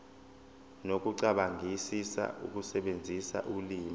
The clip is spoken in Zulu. nokucabangisisa ukusebenzisa ulimi